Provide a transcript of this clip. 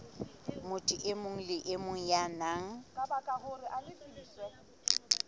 motho e mong ya nang